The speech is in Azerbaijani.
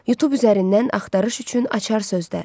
Youtube üzərindən axtarış üçün açar sözlər.